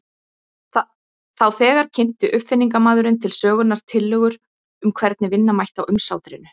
Þá þegar kynnti uppfinningamaðurinn til sögunnar tillögur um hvernig vinna mætti á umsátrinu.